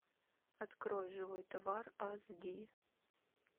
открой живой товар ас ди